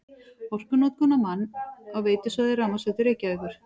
Orkunotkun á mann á veitusvæði Rafmagnsveitu Reykjavíkur